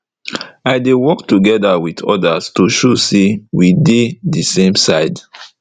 i dey work togeda with ordas to show say we dey de same side